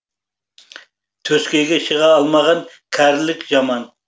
төскейге шыға алмаған кәрілік жаман